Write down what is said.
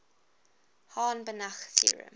hahn banach theorem